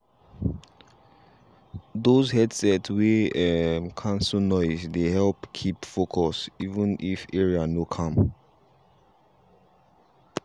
those headset wey um cancel noise dey help keep focus even if area no calm.